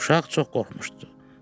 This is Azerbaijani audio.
Uşaq çox qorxmuşdu.